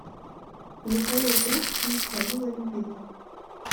михаил круг не спалила любила